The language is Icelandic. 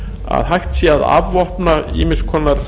að hægt sé að afvopna ýmiss konar